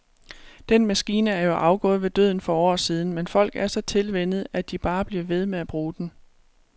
Den maskine er jo afgået ved døden for år siden, men folk er så tilvænnet, at de bare bliver ved med at bruge den.